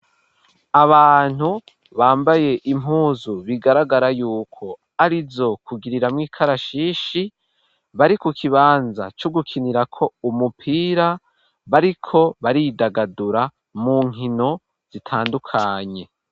Abantu bambaye impuzu bigaragara yuko arizo kugirira mu ikarashishi bari ku kibanza co gukinirako umupira bariko baridagadura mu nkino zitandukanye.